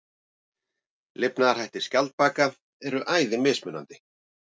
Lifnaðarhættir skjaldbaka eru æði mismunandi.